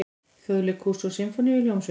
Þjóðleikhúsi og Sinfóníuhljómsveit.